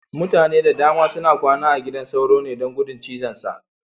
Mutane da dama suna kwana a gidan sauro ne, don gudun cizonsa.